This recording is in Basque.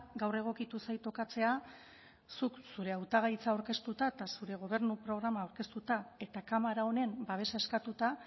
gaur egokitu zait tokatzea zuk zure hautagaitza aurkeztuta eta zure gobernu programa aurkeztuta eta kamara honen babesa eskatuta